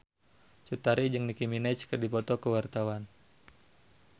Cut Tari jeung Nicky Minaj keur dipoto ku wartawan